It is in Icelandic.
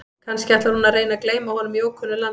Kannski ætlar hún að reyna að gleyma honum í ókunnu landi?